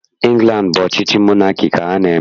Ịngland bụ ọchịchị monaki ka ha na-eme